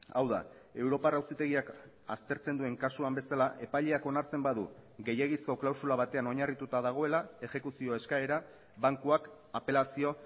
hau da europar auzitegiak aztertzen duen kasuan bezala epaileak onartzen badu gehiegizko klausula batean oinarrituta dagoela exekuzio eskaera bankuak apelazio